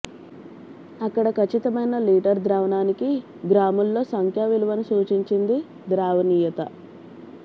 అక్కడ ఖచ్చితమైన లీటర్ ద్రావణానికి గ్రాముల లో సంఖ్యా విలువను సూచించింది ద్రావణీయత